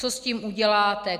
Co s tím uděláte?